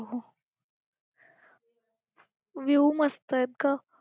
view मस्त आहेत गं.